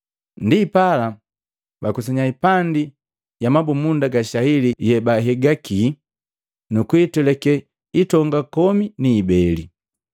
Ndipala bakusanya hipandi ya mabumunda ga shaili yebahigaki, nukutwelake hitonga komi ni ibeli.